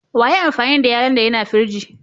Wa ya yi amfani da yallo'n da ya na firiji?